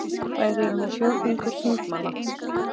Þær eru nú fjórðungur þingmanna